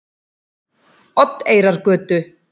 Oddeyrargötu